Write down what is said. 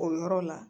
O yɔrɔ la